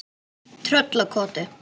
Tröllakoti